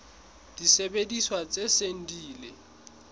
disebediswa tse seng di ile